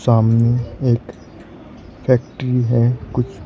सामने एक फैक्ट्री है कुछ--